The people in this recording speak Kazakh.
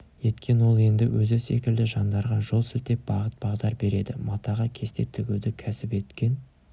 еткен ол енді өзі секілді жандарға жол сілтеп бағыт-бағдар береді матаға кесте тігуді кәсіп еткен